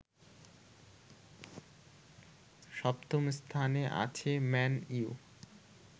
সপ্তম স্থানে আছে ম্যান ইউ